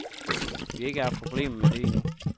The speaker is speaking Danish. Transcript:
Vi har ikke haft problemer med det endnu.